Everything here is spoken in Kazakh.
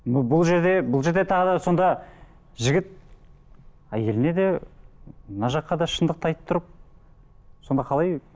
бұл жерде бұл жерде тағы да сонда жігіт әйеліне де мына жаққа да шындықты айтып тұрып сонда қалай